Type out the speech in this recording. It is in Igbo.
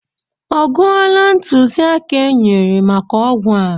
Ọ gụọla ntụziaka e nyere maka ọgwụ a?